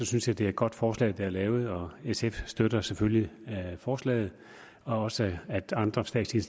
synes jeg det er et godt forslag der er lavet og sf støtter selvfølgelig forslaget og også at andre statslige